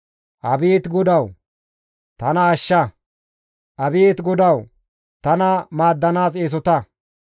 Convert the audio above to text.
Abeet GODAWU! Tana ashsha; abeet GODAWU! Tana maaddanaas eesota.